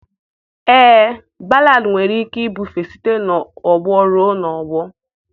Ee, Ballad nwere ike ibufe site n'ọgbọ ruo n'ọgbọ